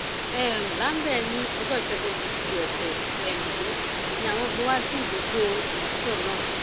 um lambe ní ọjọ ìṣẹgun túṣídéé ọsẹ um yìí ni àwọn gbé e wá síbùdó ìyàsọtọ náà